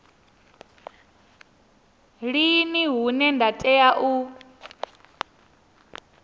lini hune nda tea u